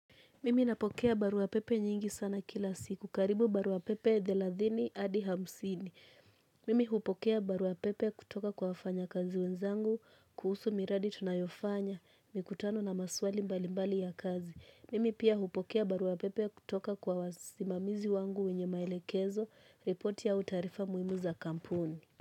Mimi napokea baruwapepe nyingi sana kila siku, karibu baruapepe thelathini Adi hamsini. Mimi hupokea baruapepe kutoka kwa wafanyakazi wenzangu, kuhusu miradi tunayo fanya, mikutano na maswali mbalimbali ya kazi. Mimi pia hupokea baruwapepe kutoka kwa wasimamizi wangu wenye maelekezo, ripoti au taarifa muhimu za kampuni.